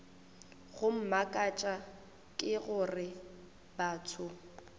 go mmakatša ke gore batho